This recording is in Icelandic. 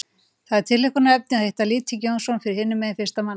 Það er tilhlökkunarefni að hitta Lýting Jónsson fyrir hinum megin fyrstan manna.